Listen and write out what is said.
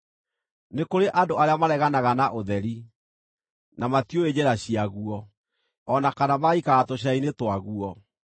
“Nĩ kũrĩ andũ arĩa mareganaga na ũtheri, na matiũĩ njĩra ciaguo, o na kana magaikara tũcĩra-inĩ twaguo.